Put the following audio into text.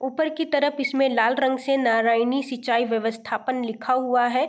ऊपर की तरफ इसमें लाल रंग से नारायणी सिंचाई व्यवस्थापन लिखा हुआ है।